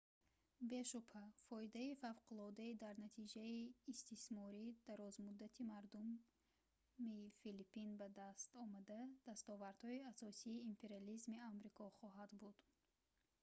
бешубҳа фоидаи фавқулоддаи дар натиҷаи истисмори дарозмуддати мардуми филиппин ба дастомада дастовардҳои асосии империализми амрико хоҳад буд